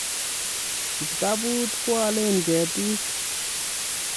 Kiptabut koale ketik